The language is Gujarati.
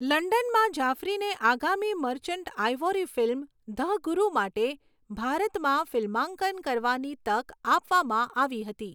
લંડનમાં, જાફરીને આગામી Merchant Ivory film 'the Guru' માટે ભારતમાં ફિલ્માંકન કરવાની તક આપવામાં આવી હતી.